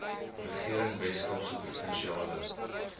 regering weskaapse provinsiale